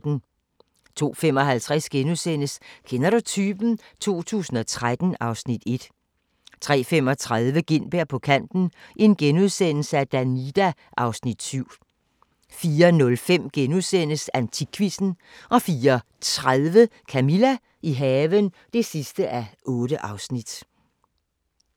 02:55: Kender du typen? 2013 (Afs. 1)* 03:35: Gintberg på kanten - Danida (Afs. 7)* 04:05: AntikQuizzen * 04:30: Camilla – i haven (8:8)